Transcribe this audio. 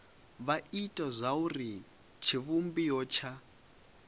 vha ite zwauri tshivhumbeo tsha